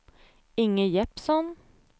Inge Jeppsson